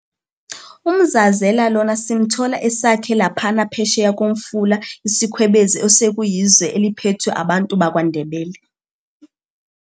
UMzazela lona simthola esakhe laphana phesheya komfula iSikhwebezi osekuyizwe eliphethwe abantu bakwa Ndebele.